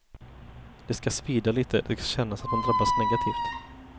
Det ska svida lite, det ska kännas att man drabbas negativt.